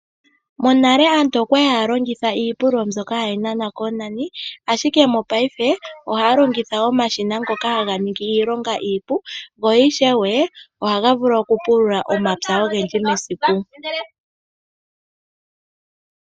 Monale aantu oya li haya longitha iipululo mbyoka hayi nanwa koonani, ashike mopayife ohaya longitha omashina ngoka haga ningi iilonga iipu, go ishewe ohaga vulu okupulula omapya ogendji mesiku.